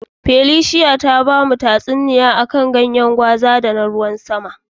Felicia ta gaya mana tasuniya a kan ganyen gwaza da ruwan sama.